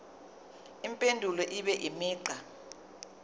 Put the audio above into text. impendulo ibe imigqa